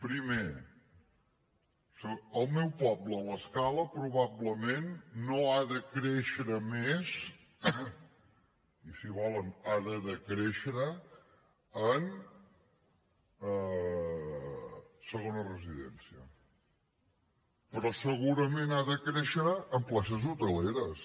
primer el meu poble l’escala probablement no ha de créixer més i si volen ha de decréixer en segona residència però segurament ha de créixer en places hoteleres